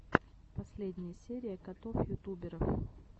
последняя серия котов ютуберов